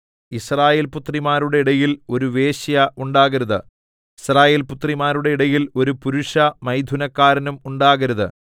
യിസ്രായേൽപുത്രിമാരുടെ ഇടയിൽ ഒരു വേശ്യ ഉണ്ടാകരുത് യിസ്രായേൽപുത്രന്മാരുടെ ഇടയിൽ ഒരു പുരുഷമൈഥുനക്കാരനും ഉണ്ടാകരുത്